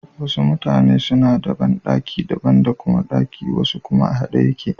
Wasu mutane suna da banɗaki daban da kuma ɗaki wasu kuma a haɗe yake.